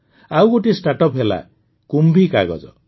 ଆଉ ଗୋଟିଏ ଷ୍ଟାର୍ଟଅପ ହେଲା କୁମ୍ଭୀ କାଗଜ କୁମ୍ଭି କାଗଜ